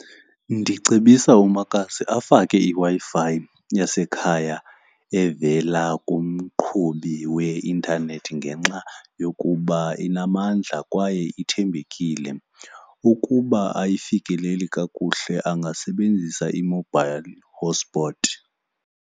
Ndicebisa umakazi afake iWi-Fi yasekhaya evela kumqhubi weintanethi ngenxa yokuba inamandla kwaye ithembekile. Ukuba ayifikeleli kakuhle angasebenzisa i-mobile hotspot.